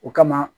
O kama